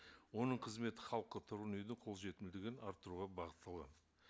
оның қызметі халыққа тұрғын үйдің қолжетімділігін арттыруға бағытталады